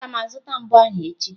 Aga m azụta mbo ahụ echi.